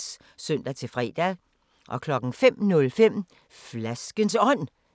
05:05: Flaskens Ånd (G)